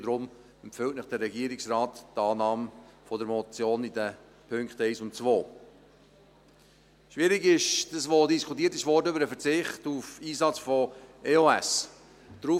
Deshalb empfiehlt Ihnen der Regierungsrat die Annahme der Motion in den Punkten 1 und 2. Schwierig ist das, was über den Verzicht auf den Einsatz von EOS diskutiert wurde.